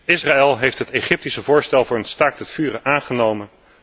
Israël heeft het Egyptische voorstel voor een staakt het vuren aangenomen.